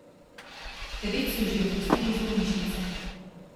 Devet so jih že odpustili iz bolnišnice.